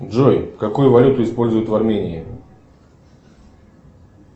джой какую валюту используют в армении